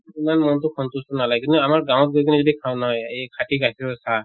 ইমান তʼ সন্তুষ্ট নালাগে কিন্তু আমাৰ গাঁৱত গৈ কিনে যদি খাওঁ নহয় খাটি গাখীৰৰ চাহ